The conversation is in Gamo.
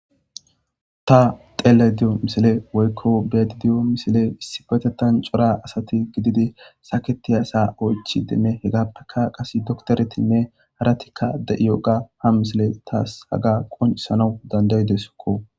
Ta xeele di'o misile woykko beedi diyo misile issi betetan cora asati gididi saketiyasa oychi demme hegappeka qase doktoretinne haratikka de'iyo ga ha misile taas haga qonsano dandayde sokko